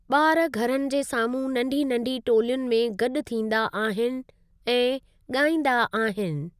बा॒र घरनि जे साम्हूं नंढी नंढी टोलियुनि में गॾु थींदा आहिनि ऐं गा॒ईंदा आहिनि।